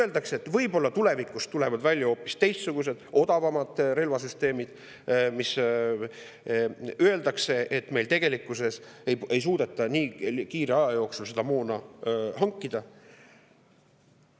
Öeldakse, et tulevikus tulevad võib-olla välja hoopis teistsugused, odavamad relvasüsteemid, öeldakse, et tegelikkuses me ei suuda nii aja jooksul seda moona hankida.